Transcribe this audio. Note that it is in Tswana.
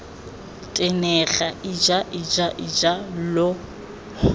tenega ija ija ija lo